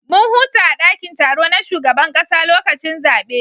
Mun huta a dakin taro na shugaban kasa lokacin zabe